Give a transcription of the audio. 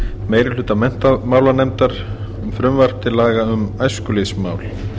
meiri hluta menntamálanefndar um frumvarp til laga um æskulýðsmál